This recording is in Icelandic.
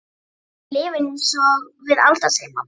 Ekki ef þú lifir einsog við Alda, segir mamma hennar.